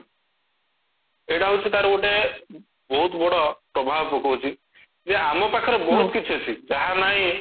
ଏଇଟା ହଉଚି ତାର ଗୋଟେ ବହୁତ ବଡ ପ୍ରଭାବ ପକଉଚି ଯେ ଆମ ପାଖରେ ବହୁତ କିଛି ଅଛି ଯାହା ନାହିଁ